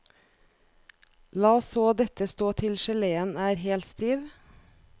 La så dette stå til geleen er helt stiv.